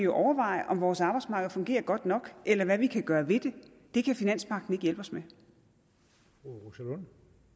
overveje om vores arbejdsmarked fungerer godt nok eller hvad vi kan gøre ved det det kan finanspagten ikke hjælpe os